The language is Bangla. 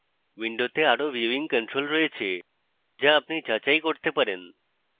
window আরো ভিউইং controls রয়েছে যা আপনি যাচাই করতে পারেন